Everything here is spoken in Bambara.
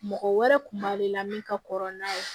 Mɔgɔ wɛrɛ kun b'ale la min ka kɔrɔ n'a ye